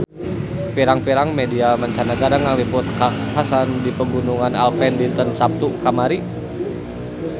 Pirang-pirang media mancanagara ngaliput kakhasan di Pegunungan Alpen dinten Saptu kamari